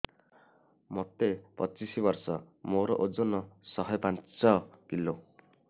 ମୋତେ ପଚିଶି ବର୍ଷ ମୋର ଓଜନ ଶହେ ପାଞ୍ଚ କିଲୋ